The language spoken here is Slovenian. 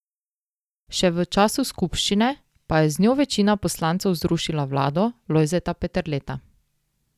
Še v času skupščine pa je z njo večina poslancev zrušila vlado Lojzeta Peterleta.